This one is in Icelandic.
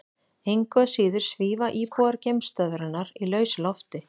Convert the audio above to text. Engu að síður svífa íbúar geimstöðvarinnar í lausu lofti.